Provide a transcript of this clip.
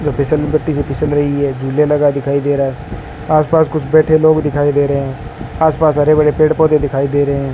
location में बत्ती-सत्ती जल रही है झूले लगा दिखाई दे रहा है आस-पास कुछ बैठे लोग दिखाई दे रहे है आस-पास हरे बड़े पेड़-पौधे दिखाई दे रहे --